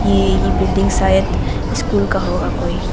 ये ये बिल्डिंग शायद स्कूल का होगा कोई--